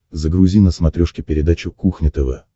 загрузи на смотрешке передачу кухня тв